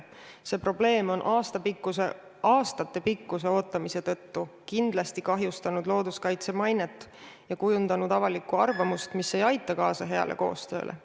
See probleem on aastatepikkuse ootamise tõttu kindlasti kahjustanud looduskaitse mainet ja kujundanud avalikku arvamust, mis ei aita kaasa heale koostööle.